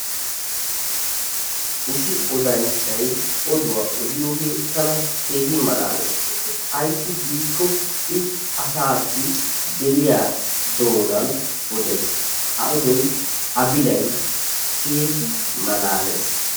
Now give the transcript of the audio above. Issi odanchchay oduwaa odiyoodee tana keehin malaalees. Ayssi giiko i asaassi geliyaa doonan odees. A oodoy a bilay keehi malaalees.